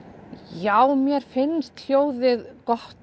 já mér finnst hljóðið gott